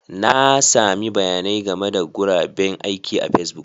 Na sami bayanin game da guraben aiki a Facebook